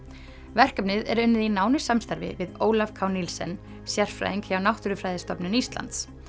verkefnið er unnið í nánu samstarfi við Ólaf k sérfræðing hjá Náttúrufræðistofnun Íslands